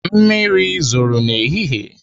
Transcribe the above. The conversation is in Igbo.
Mmiri zoro n'ehihie.